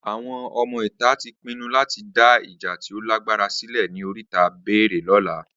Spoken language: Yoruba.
Awọn ọmọ ìta tí pinnu lati dá ìjà tí o lágbára sílẹ̀ ní oríta bẹẹrẹ lóla